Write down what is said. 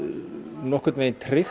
nokkurn veginn tryggt